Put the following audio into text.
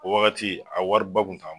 O wagati a wari ba kun t'an